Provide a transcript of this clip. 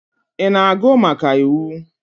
Ị na-agụ maka iwu?